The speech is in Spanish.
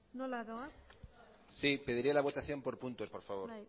nola doaz sí pediría la votación por puntos por favor